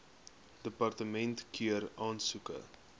departement keur aansoeke